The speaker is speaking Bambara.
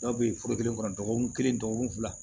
Dɔw bɛ yen foro kelen kɔnɔ dɔgɔkun kelen dɔgɔkun fila